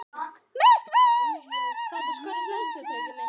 Mestmegnis fyrir velvild íslenskra ástkvenna þeirra.